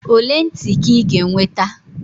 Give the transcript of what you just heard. ole ntị ka ị ga-enweta?